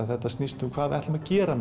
þetta snýst um hvað við ætlum að gera